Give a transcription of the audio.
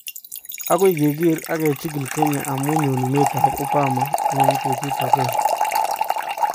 agoy keger ak kechigil Kenya amu nyonunet ab Obama eng betut agenge